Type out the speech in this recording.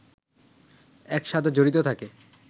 এর সাথে জড়িত থাকে